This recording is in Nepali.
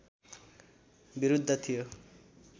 विरुद्ध थियो